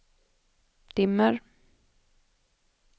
dimmer